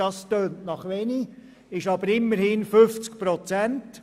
Das tönt nach wenig, ist aber immerhin 50 Prozent.